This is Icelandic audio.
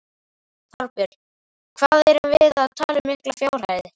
Þorbjörn: Hvað erum við að tala um miklar fjárhæðir?